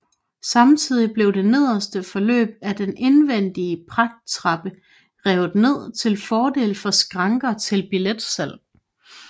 Samtidig blev det nederste forløb af den indvendige pragttrappe revet ned til fordel for skranker til billetsalg